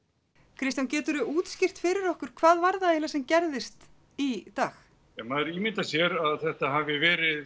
Kristján geturðu útskýrt fyrir okkur hvað það var eiginlega sem gerðist í dag ja maður ímyndar sér að þetta hafi verið